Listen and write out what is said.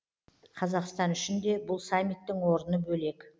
қазақстан үшін де бұл саммиттің орны бөлек